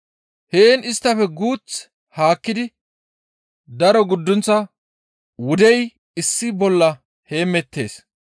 Heen isttafe guuth haakkidi daro guddunththa wudey issi bolla heemettees.